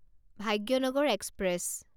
Bhagyanagar express